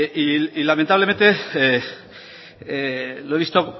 y lamentablemente lo he visto